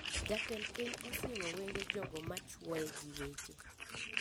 Jatend piny osiemo wenge jogo machuoye gi weche